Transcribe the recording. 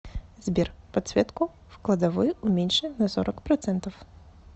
сбер подсветку в кладовой уменьши на сорок процентов